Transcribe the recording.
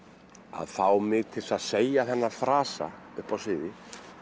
að fá mig til að segja þennan frasa upp á sviði